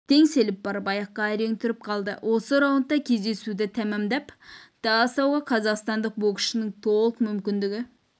теңселіп барып аяқта әрең тұрып қалды осы раундта кездесуді тәмамдап тастауға қазақстандық боксшының толық мүмкіндігі